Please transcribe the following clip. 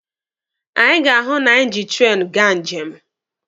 Anyị ga-ahụ na anyị ji treenụ gaa njem.